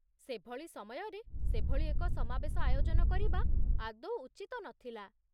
ସେଭଳି ସମୟରେ ସେଭଳି ଏକ ସମାବେଶ ଆୟୋଜନ କରିବା ଆଦୌ ଉଚିତ ନଥିଲା